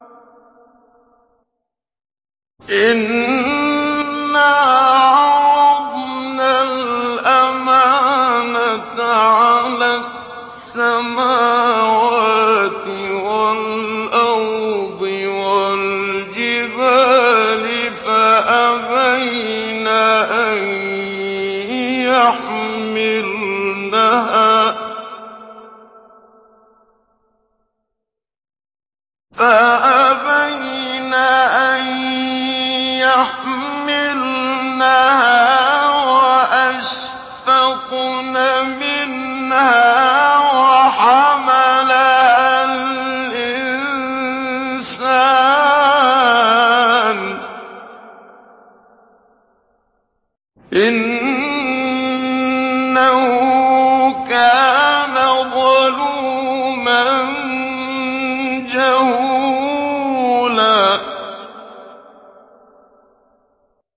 إِنَّا عَرَضْنَا الْأَمَانَةَ عَلَى السَّمَاوَاتِ وَالْأَرْضِ وَالْجِبَالِ فَأَبَيْنَ أَن يَحْمِلْنَهَا وَأَشْفَقْنَ مِنْهَا وَحَمَلَهَا الْإِنسَانُ ۖ إِنَّهُ كَانَ ظَلُومًا جَهُولًا